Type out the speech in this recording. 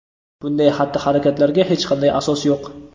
Bunday xatti-harakatlarga hech qanday asos yo‘q.